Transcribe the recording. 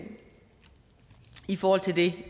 i forhold til det